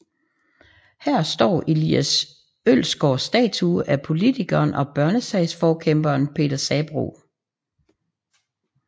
Her står Elias Ølsgaards statue af politikeren og børnesagsforkæmperen Peter Sabroe